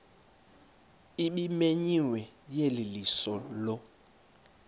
ebimenyiwe yeyeliso lo